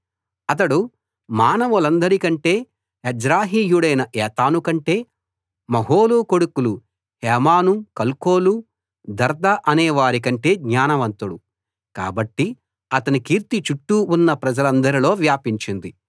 అతడు మానవులందరి కంటే ఎజ్రాహీయుడైన ఏతాను కంటే మహోలు కొడుకులు హేమాను కల్కోలు దర్ద అనేవారి కంటే జ్ఞానవంతుడు కాబట్టి అతని కీర్తి చుట్టూ ఉన్న ప్రజలందరిలో వ్యాపించింది